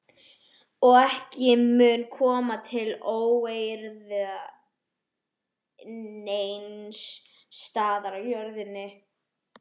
Og ekki mun koma til óeirða neins staðar á jörðinni.